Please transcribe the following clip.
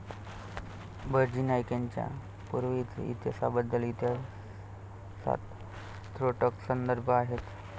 बहिर्जी नाईक यांच्या पूर्वइतिहासाबद्दल इतिहासात त्रोटक संदर्भ आहेत.